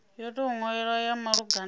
yo tou nwalwaho ya malugana